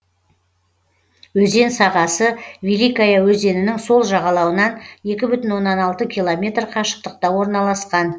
өзен сағасы великая өзенінің сол жағалауынан екі бүтін оннан алты километр қашықтықта орналасқан